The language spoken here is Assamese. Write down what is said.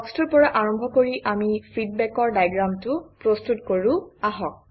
ব্লকটোৰ পৰা আৰম্ভ কৰি আমি ফিডবেকৰ ডায়েগ্ৰামটো প্ৰস্তুত কৰোঁ আহক